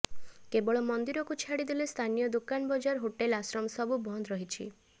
କେବଳ ମନ୍ଦିରକୁ ଛାଡ଼ି ଦେଲେ ସ୍ଥାନୀୟ ଦୋକାନ ବଜାର ହୋଟେଲ ଆଶ୍ରମ ସବୁ ବନ୍ଦ ରହିଛି